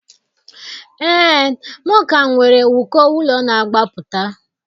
Ee, m ka nwere uko ụlọ na-agbapụta.